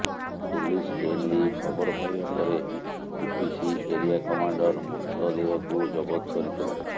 police ଏନେଇ ଖବର ପାଇବା ପରେ ଟିପିସି ଏରିୟା କମାଣ୍ଡର ମୃତଦେହକୁ ଜବତ କରିଥିଲା